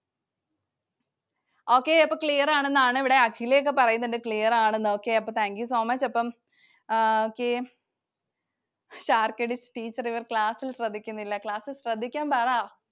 Okay. അപ്പൊ clear ആണെന്നാണ് ഇവിടെ അഖിലയൊക്കെ പറയുന്നുണ്ട്, clear ആണെന്ന്. okay അപ്പൊ Thank you so much. അപ്പം Teacher ഇവർ class ൽ ശ്രദ്ധിക്കുന്നില്ല. Class ൽ ശ്രദ്ധിക്കാൻ പറ.